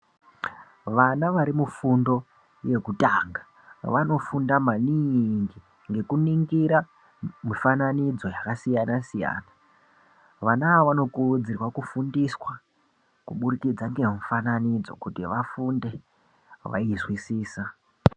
Vana varimufundo yekutanga vanofunda maningi ngekuningira mifananidzo yakasiyana-siyana. Vana ava vanokurudzirwa kufundiswa kubudikidza ngemifananidzo kuti vafunde vaizwisisa.